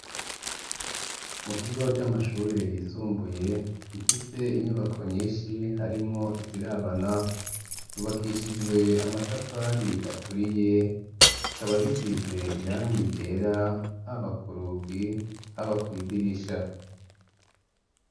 Mukigo c'amashure yisumbuye imfise inyubako nyinshi harimwo izirabana ryubakishijwe amatafari aturiye ikaba gisize irangi ryera habakurugi haba kw'idirisha.